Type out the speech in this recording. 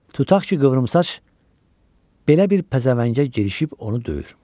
Tutaq ki, qıvrımsaç belə bir pəzəvəngə girişib onu döyür.